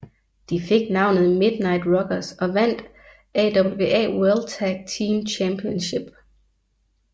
De fik navnet Midnight Rockers og vandt AWA World Tag Team Championship